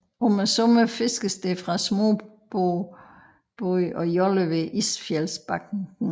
Om sommeren fiskes der fra småbåde og joller ved Isfjeldsbanken